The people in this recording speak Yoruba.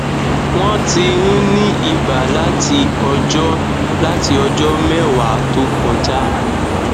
wọn ti ń ní iba láti ọjọ láti ọjọ mẹwàá tó kọjá